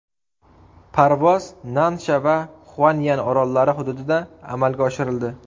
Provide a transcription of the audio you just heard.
Parvoz Nansha va Xuan’yan orollari hududida amalga oshirildi.